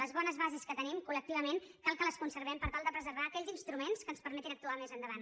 les bones bases que tenim col·lectivament cal que les conservem per tal de preservar aquells instruments que ens permetin actuar més endavant